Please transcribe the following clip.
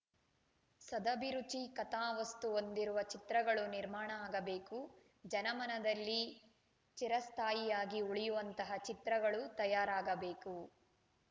ಸದಭಿರುಚಿ ಕಥಾ ವಸ್ತು ಹೊಂದಿರುವ ಚಿತ್ರಗಳು ನಿರ್ಮಾಣ ಆಗಬೇಕು ಜನಮನದಲ್ಲಿ ಚಿರಸ್ಥಾಯಿಯಾಗಿ ಉಳಿಯುವಂತಹ ಚಿತ್ರಗಳು ತಯಾರಾಗಬೇಕು